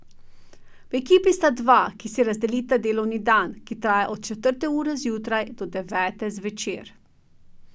V ekipi sta dva, ki si razdelita delovni dan, ki traja od četrte ure zjutraj do devete zvečer.